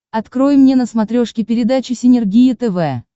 открой мне на смотрешке передачу синергия тв